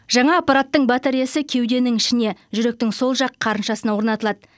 жаңа аппараттың батареясы кеуденің ішіне жүректің сол жақ қарыншасына орнатылады